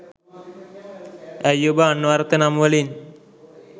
ඇයි ඔබ අන්වර්ථ නම්වලින්